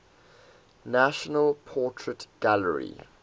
national portrait gallery